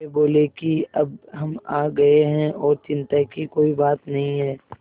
वे बोले कि अब हम आ गए हैं और चिन्ता की कोई बात नहीं है